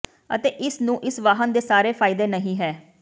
ਅਤੇ ਇਸ ਨੂੰ ਇਸ ਵਾਹਨ ਦੇ ਸਾਰੇ ਫਾਇਦੇ ਨਹੀ ਹੈ